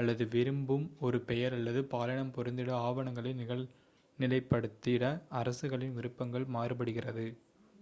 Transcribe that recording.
அல்லது விரும்பும் ஒரு பெயர் அல்லது பாலினம் பொருந்திட ஆவணங்களை நிகழ்நிலைப்படுத்திட அரசுகளின் விருப்பங்கள் மாறுபடுகிறது